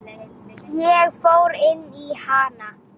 Ég fór inn í hana.